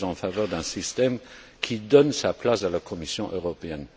je suis en faveur d'un système qui donne sa place à la Commission européenne.